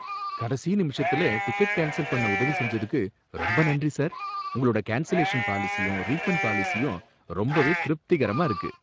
கடைசி நிமிஷத்துல ticket cancel பண்ண உதவி செஞ்சதுக்கு ரொம்ப நன்றி சார், உங்களோட கேன்சலேஷன் பாலிசியும் ரீஃபண்ட் பாலிசியும் ரொம்பவே திருப்திகரமா இருக்கு.